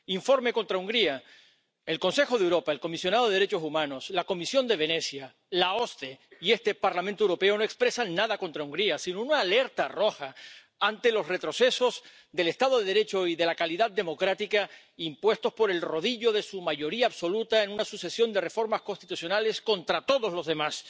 Informe contra Hungría el Consejo de Europa, el Comisionado para los Derechos Humanos, la Comisión de Venecia, la OSCE y este Parlamento Europeo no expresan nada contra Hungría, sino una alerta roja ante los retrocesos del Estado de Derecho y de la calidad democrática impuestos por el rodillo de su mayoría absoluta en una sucesión de reformas constitucionales contra todos los demás.